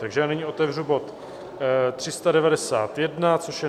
Takže já nyní otevřu bod 391, což je